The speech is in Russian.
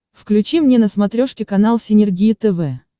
включи мне на смотрешке канал синергия тв